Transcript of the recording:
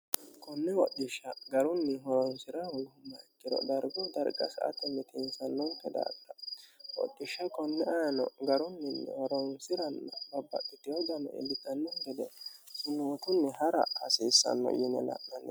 konne hodhishsha garunni horonsi'ra hoonhummoha ikkiro darguy darga sa'ate mitinsannonke daafira hodhishsha konne ayino garunninni horonsiranna babbadhitino dano illitannokki gede sunuutunni ha'ra hasiissanno yine la'nanni